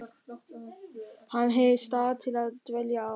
Hann hefði stað til að dvelja á.